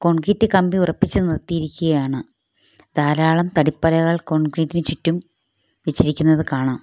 Concrete കമ്പി ഉറപ്പിച്ചു നിർത്തിയിരിക്കുകയാണ് ധാരാളം തടി പലകകൾ കോൺക്രീറ്റിന് ചുറ്റും വെച്ചിരിക്കുന്നത് കാണാം.